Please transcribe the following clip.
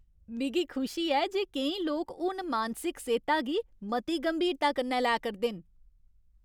मिगी खुशी ऐ जे केईं लोक हून मानसिक सेह्ता गी मती गंभीरता कन्नै लै करदे न।